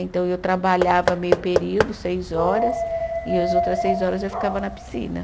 Então, eu trabalhava meio período, seis horas, e as outras seis horas eu ficava na piscina.